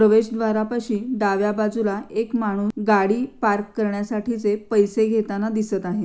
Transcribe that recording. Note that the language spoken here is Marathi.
प्रवेशद्वारापाशी डाव्या बाजूला एक माणूस गाडी पार्क करण्यासाठीचे पैसे घेताना दिसत आहे.